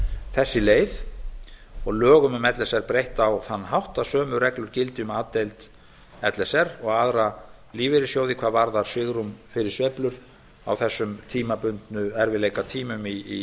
þessi leið og lögum um l s r breytt á þann hátt að sömu reglur gildi um a deild l s r og aðra lífeyrissjóði hvað varðar svigrúm fyrir sveiflur á þessum tímabundnu erfiðleikatímum